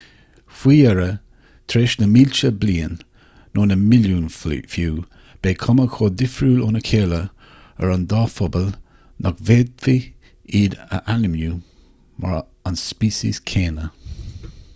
faoi dheireadh tar éis na mílte bliain nó na milliúin fiú beidh cuma chomh difriúil óna chéile ar an dá phobal nach bhféadfaidh iad a ainmniú mar an speiceas céanna